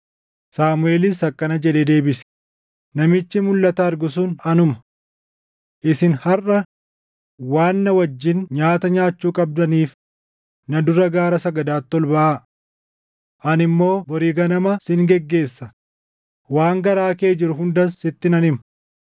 Saamuʼeelis akkana jedhee deebise; “Namichi mulʼata argu sun anuma. Isin harʼa waan na wajjin nyaata nyaachuu qabdaniif na dura gaara sagadaatti ol baʼaa. Ani immoo bori ganama sin geggeessa; waan garaa kee jiru hundas sitti nan hima.